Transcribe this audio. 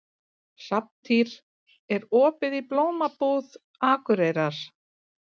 Hrafntýr, er opið í Blómabúð Akureyrar?